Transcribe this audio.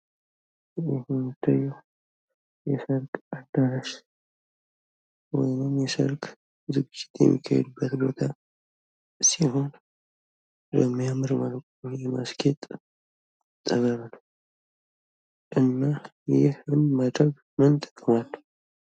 ይህ የሚታየው የሰርግ አዳራሽ ወይም የሰርግ ዝግጅት የሚካሄድበት ቦታ ሲሆን የሚያምር እና ለማስጌጥ የታሰበ ነው እና ይህን ማድረግ ምን ጥቅም አለው?